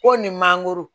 Ko ni mangoro